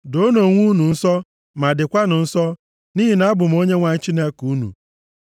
“ ‘Doonụ onwe unu nsọ, ma dịkwanụ nsọ nʼihi na abụ m Onyenwe anyị Chineke unu.